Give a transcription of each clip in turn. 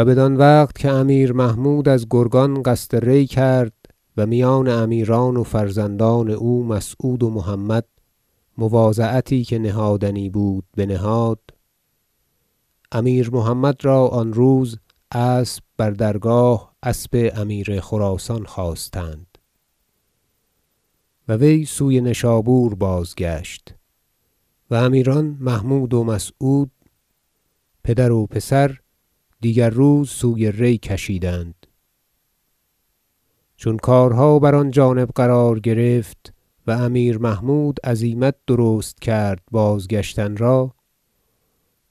و بدان وقت که امیر محمود از گرگان قصد ری کرد و میان امیران و فرزندان او مسعود و محمد مواضعتی که نهادنی بود بنهاد امیر محمد را آن روز اسب بر درگاه اسب امیر خراسان خواستند و وی سوی نشابور بازگشت و امیران محمود و مسعود پدر و پسر دیگر روز سوی ری کشیدند چون کارها بر آن جانب قرار گرفت و امیر محمود عزیمت درست کرد بازگشتن را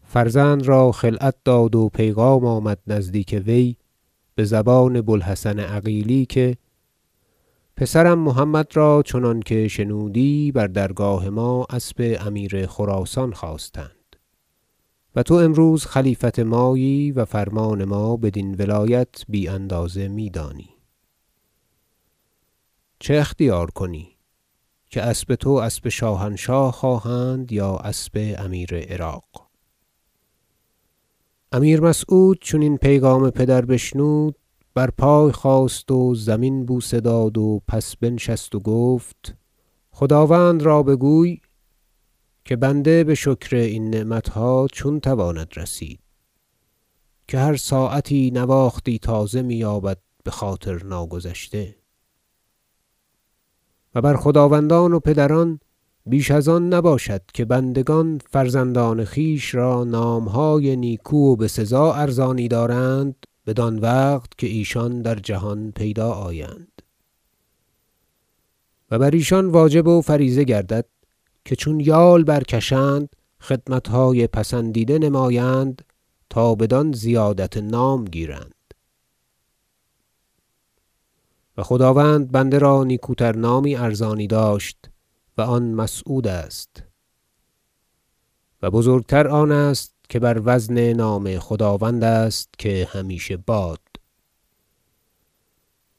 فرزند را خلعت داد و پیغام آمد نزدیک وی به زبان بوالحسن عقیلی که پسرم محمد را چنانکه شنودی بر درگاه ما اسب امیر خراسان خواستند و تو امروز خلیفت مایی و فرمان ما بدین ولایت بی اندازه میدانی چه اختیار کنی که اسب تو اسب شاهنشاه خواهند یا اسب امیر عراق امیر مسعود چون این پیغام پدر بشنود بر پای خاست و زمین بوسه داد و پس بنشست و گفت خداوند را بگوی که بنده به شکر این نعمتها چون تواند رسید که هر ساعتی نواختی تازه می یابد بخاطرناگذشته و بر خداوندان و پدران بیش از آن نباشد که بندگان فرزندان خویش را نامهای نیکو و بسزا ارزانی دارند بدان وقت که ایشان در جهان پیدا آیند و بر ایشان واجب و فریضه گردد که چون یال برکشند خدمتهای پسندیده نمایند تا بدان زیادت نام گیرند و خداوند بنده را نیکوتر نامی ارزانی داشت و آن مسعود است و بزرگ تر آن است که بر وزن نام خداوند است که همیشه باد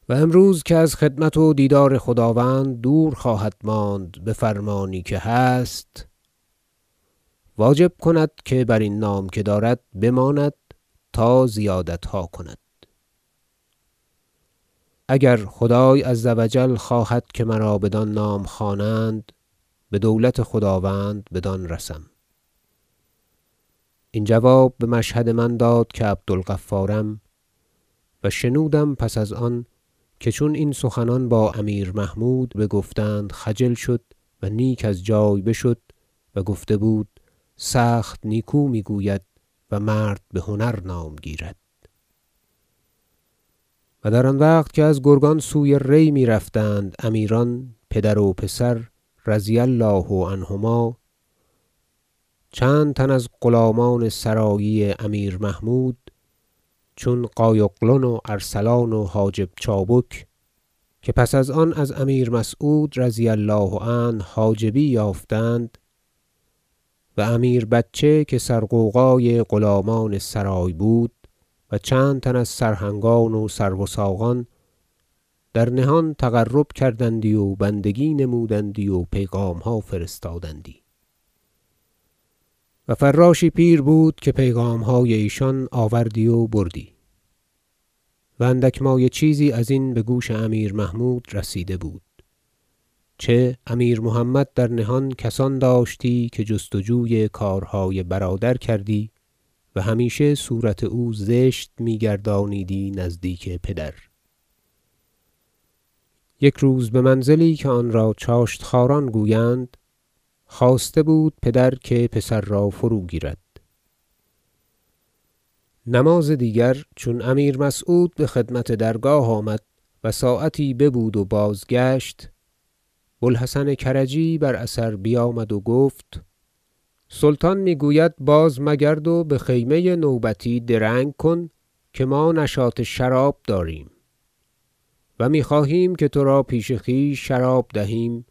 و امروز که از خدمت و دیدار خداوند دور خواهدماند به فرمانی که هست واجب کند که برین نام که دارد بماند تا زیادتها کند اگر خدای -عز و جل- خواهد که مرا بدان نام خوانند به دولت خداوند بدان رسم این جواب به مشهد من داد که عبدالغفارم و شنودم پس از آن که چون این سخنان با امیر محمود بگفتند خجل شد و نیک از جای بشد و گفته بود که سخت نیکو میگوید و مرد بهتر نام گیرد و در آن وقت که از گرگان سوی ری میرفتند امیران پدر و پسر -رضی الله عنهما- چند تن از غلامان سرایی امیر محمود چون قای اغلن و ارسلان و حاجب چابک که پس از آن از امیر مسعود -رضی الله عنه- حاجبی یافتند و امیر بچه که سرغوغای غلامان سرای بود و چند تن از سرهنگان و سروثاقان در نهان تقرب کردندی و بندگی نمودندی و پیغامها فرستادندی و فراشی پیر بود که پیغامهای ایشان آوردی و بردی و اندک مایه چیزی ازین به گوش امیر محمود رسیده بود چه امیر محمد در نهان کسان داشتی که جست وجوی کارهای برادر کردی و همیشه صورت او زشت میگردانیدی نزدیک پدر یک روز به منزلی که آن را چاشت خواران گویند خواسته بود پدر که پسر را فروگیرد نماز دیگر چون امیر مسعود به خدمت درگاه آمد و ساعتی ببود و بازگشت بوالحسن کرجی بر اثر بیامد و گفت سلطان میگوید بازمگرد و به خیمه نوبتی درنگ کن که ما نشاط شراب داریم و میخواهیم که تو را پیش خویش شراب دهیم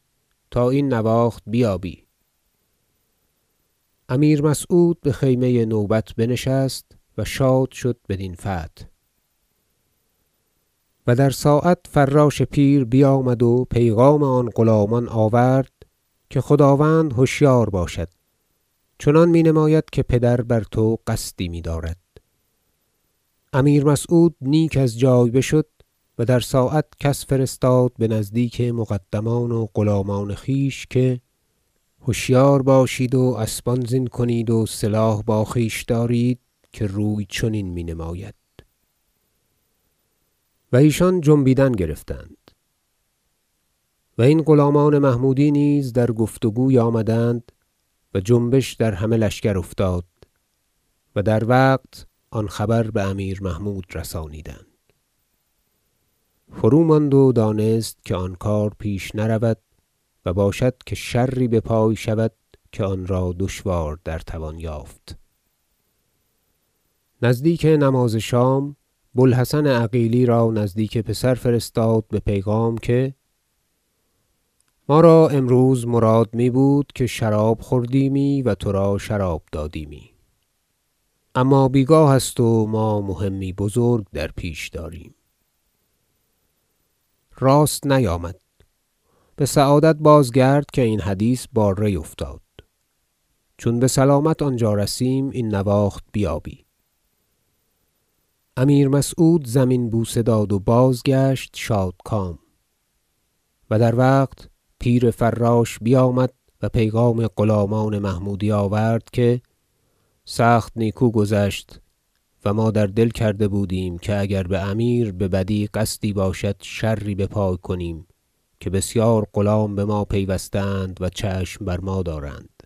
تا این نواخت بیابی امیر مسعود به خیمه نوبت بنشست و شاد شد بدین فتح و در ساعت فراش پیر بیامد و پیغام آن غلامان آورد که خداوند هشیار باشد چنان مینماید که پدر بر تو قصدی میدارد امیر مسعود نیک از جای بشد و در ساعت کس فرستاد به نزدیک مقدمان و غلامان خویش که هشیار باشید و اسبان زین کنید و سلاح با خویش دارید که روی چنین مینماید و ایشان جنبیدن گرفتند و این غلامان محمودی نیز در گفت وگوی آمدند و جنبش در همه لشکر افتاد و در وقت آن خبر به امیر محمود رسانیدند فروماند و دانست که آن کار پیش نرود و باشد که شری بپای شود که آن را دشوار در توان یافت نزدیک نماز شام بوالحسن عقیلی را نزدیک پسر فرستاد به پیغام که ما را امروز مراد میبود که شراب خوردیمی و تو را شراب دادیمی اما بیگاه است و ما مهمی بزرگ در پیش داریم راست نیامد به سعادت بازگرد که این حدیث با ری افتاد چون بسلامت آنجا رسیم این نواخت بیابی امیر مسعود زمین بوسه داد و بازگشت شادکام و در وقت پیر فراش بیامد و پیغام غلامان محمودی آورد که سخت نیکو گذشت و ما در دل کرده بودیم که اگر به امیر ببدی قصدی باشد شری بپای کنیم که بسیار غلام به ما پیوسته اند و چشم بر ما دارند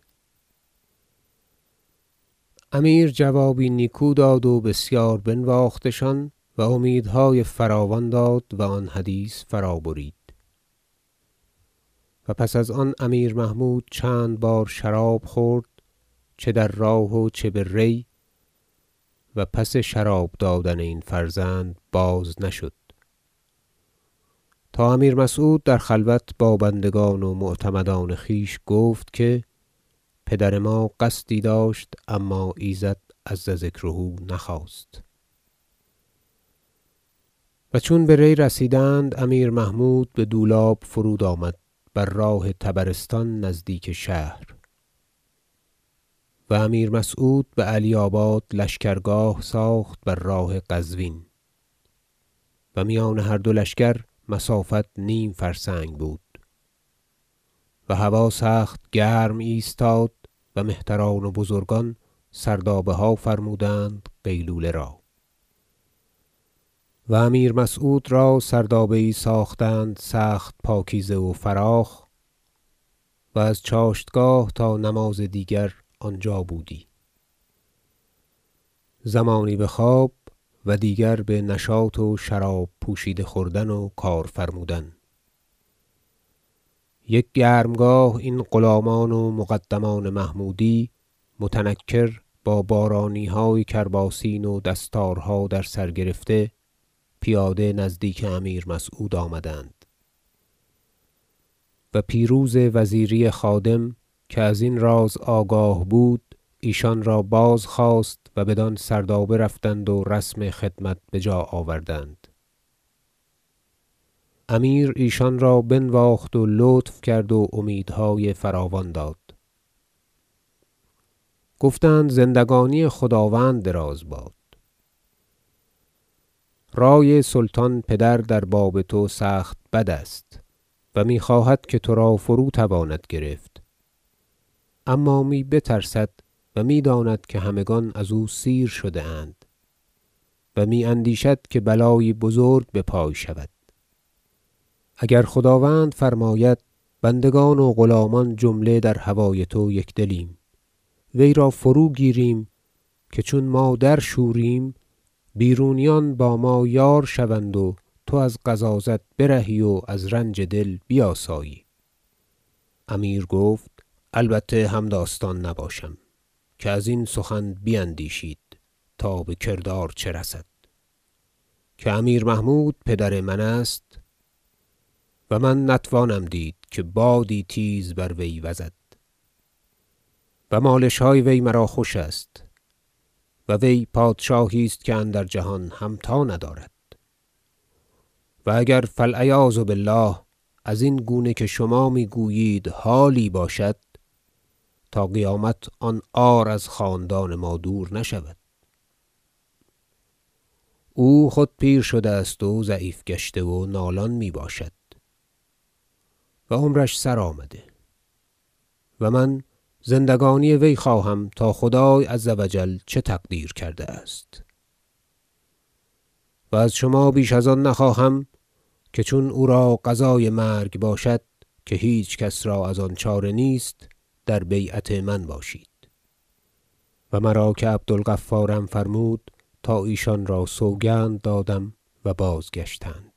امیر جوابی نیکو داد و بسیار بنواختشان و امیدهای فراوان داد و آن حدیث فرابرید و پس ازان امیر محمود چند بار شراب خورد چه در راه و چه به ری و پس شراب دادن این فرزند باز نشد تا امیر مسعود در خلوت با بندگان و معتمدان خویش گفت که پدر ما قصدی داشت اما ایزد -عز ذکره- نخواست و چون به ری رسیدند امیر محمود به دولاب فرود آمد بر راه طبرستان نزدیک شهر و امیر مسعود به علی آباد لشکرگاه ساخت بر راه قزوین و میان هر دو لشکر مسافت نیم فرسنگ بود و هوا سخت گرم ایستاد و مهتران و بزرگان سردابه ها فرمودند قیلوله را و امیر مسعود را سردابه یی ساختند سخت پاکیزه و فراخ و از چاشتگاه تا نماز دیگر آنجا بودی زمانی به خواب و دیگر به نشاط و شراب پوشیده خوردن و کار فرمودن یک گرمگاه این غلامان و مقدمان محمودی متنکر با بارانیهای کرباسین و دستارها در سر گرفته پیاده نزدیک امیر مسعود آمدند و پیروز وزیری خادم که ازین راز آگاه بود ایشان را بار خواست و بدان سردابه رفتند و رسم خدمت به جا آوردند امیر ایشان را بنواخت و لطف کرد و امیدهای فراوان داد گفتند زندگانی خداوند دراز باد رأی سلطان پدر در باب تو سخت بد است و میخواهد که تو را فروتواند گرفت اما می بترسد و میداند که همگان از او سیر شده اند و می اندیشد که بلایی بزرگ بپای شود اگر خداوند فرماید بندگان و غلامان جمله در هوای تو یکدلیم ویرا فرو گیریم که چون ما درشوریم بیرونیان با ما یار شوند و تو از غضاضت برهی و از رنج دل بیاسایی امیر گفت البته همداستان نباشم که ازین سخن بیندیشید تا به کردار چه رسد که امیر محمود پدر من است و من نتوانم دید که بادی تیز بر وی وزد و مالشهای وی مرا خوش است و وی پادشاهی است که اندر جهان همتا ندارد و اگر فالعیاذ بالله ازین گونه که شما میگویید حالی باشد تا قیامت آن عار از خاندان ما دور نشود او خود پیر شده است و ضعیف گشته و نالان می باشد و عمرش سرآمده و من زندگانی وی خواهم تا خدای -عز و جل- چه تقدیر کرده است و از شما بیش از آن نخواهم که چون او را قضای مرگ باشد که هیچ کس را ازان چاره نیست در بیعت من باشید و مرا که عبدالغفارم فرمود تا ایشان را سوگند دادم و بازگشتند